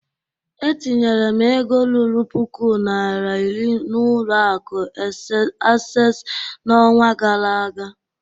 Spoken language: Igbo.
E tinyere m ego ruru puku naira iri n'ụlọ akụ Asess n'ọnwa gara aga